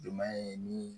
Jomɛ ni